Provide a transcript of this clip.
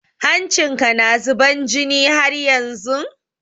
Hancin ka na zuban jini haryanzun?